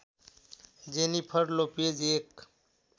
Jennifer Lopez एक